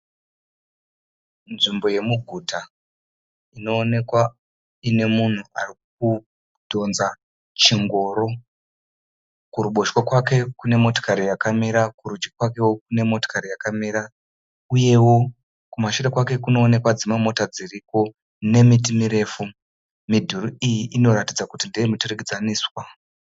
Nzvimbo yemuguta inoonekwa ine munhu ari kudhonza chingoro, kuruboboshwe kwake kune motikari yakamira kurudyi kwake kune motikari yakamira, uyewo kumashure kwake kunoonekwa dzimwe mota dziriko nemiti mirefu midhuri iyi inoratidza kuti ndeye muturikidzaniswa.